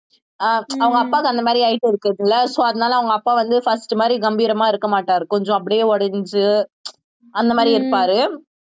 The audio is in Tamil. அஹ் அவங்க அப்பாக்கு அந்த மாதிரி இருக்கறது இல்லை so அதனாலே அவங்க அப்பா வந்து first மாதிரி கம்பீரமா இருக்க மாட்டாரு கொஞ்சம் அப்படியே உடைஞ்சு அந்த மாதிரி இருப்பாரு